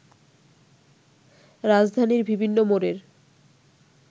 রাজধানীর বিভিন্ন মোড়ের